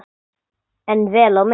En vel á minnst.